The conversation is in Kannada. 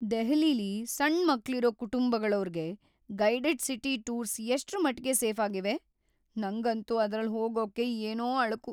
ದೆಹಲಿಲಿ ಸಣ್ ಮಕ್ಳಿರೋ ಕುಟುಂಬಗಳೋರ್ಗೆ ಗೈಡೆಡ್ ಸಿಟಿ ಟೂರ್ಸ್ ಎಷ್ಟ್ರಮಟ್ಗೆ ಸೇಫಾಗಿವೆ? ನಂಗಂತೂ ಅದ್ರಲ್‌ ಹೋಗಕ್ಕೆ ಏನೋ ಅಳುಕು.